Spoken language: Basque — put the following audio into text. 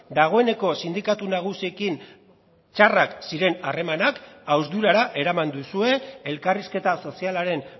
dagoeneko sindikatu nagusiekin txarrak ziren harremanak hausturara eraman duzue elkarrizketa sozialaren